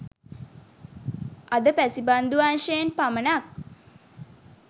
අද පැසිපන්දු අංශයෙන් පමණක්